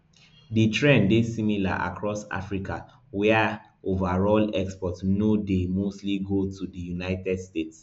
di trend dey similar across africa wia overall exports no dey mostly go to di united states